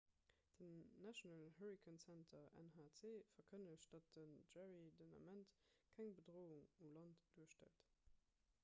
den national hurricane center nhc verkënnegt datt den jerry den ament keng bedroung u land duerstellt